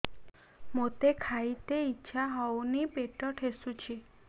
ମୋତେ ଖାଇତେ ଇଚ୍ଛା ହଉନି ପେଟ ଠେସୁଛି